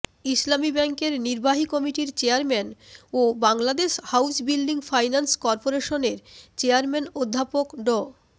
ইসলামী ব্যাংকের নির্বাহী কমিটির চেয়ারম্যান ও বাংলাদেশ হাউজ বিল্ডিং ফাইন্যান্স করপোরেশনের চেয়ারম্যান অধ্যাপক ড